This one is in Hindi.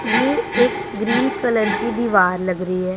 ये एक ग्रीन कलर की दीवार लग रही हैं।